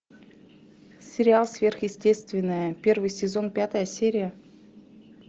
сериал сверхъестественное первый сезон пятая серия